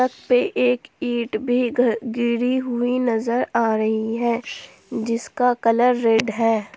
सड़क पे एक ईटी भी घ गिरी हुई नजर आ रही है जिसका कलर रेड है।